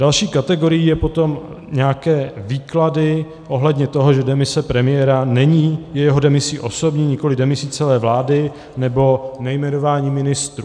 Další kategorií jsou potom nějaké výklady ohledně toho, že demise premiéra není jeho demisi osobní, nikoliv demisí celé vlády, nebo nejmenování ministrů.